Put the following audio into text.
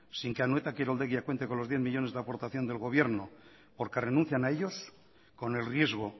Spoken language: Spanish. sin que anoeta kiroldegia cuente con los diez millónes de aportación del gobierno porque renuncian a ellos con el riesgo